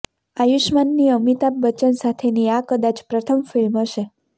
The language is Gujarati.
આયુષ્માનની અમિતાભ બચ્ચન સાથેની આ કદાચ પ્રથમ ફિલ્મ હશે